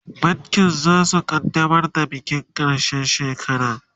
bankin zasu kaddamar da bikin karshen shekara